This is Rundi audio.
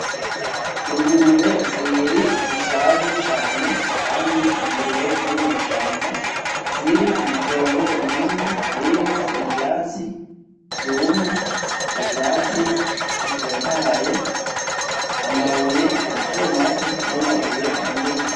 Ingurube zibiri zishaje cane kandi ingurube zo mw'ishamba ziri mw'itongo rinini ririmwo ivyatsi vyumye; ivyatsi bitotahaye; amabuye matomato; n'amabuye manini.